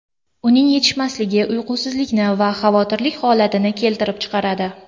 Uning yetishmasligi uyqusizlikni va xavotirlik holatini keltirib chiqaradi.